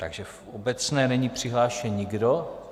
Takže v obecné není přihlášen nikdo.